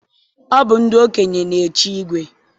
Ọ bụ ndị okenye na-echi igwe